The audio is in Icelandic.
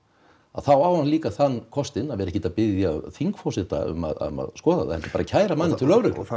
þá á hann líka þann kostinn að vera ekkert að biðja þingforseta um að skoða það heldur bara að kæra manninn til lögreglu